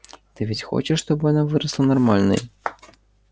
ты ведь хочешь чтобы она выросла нормальной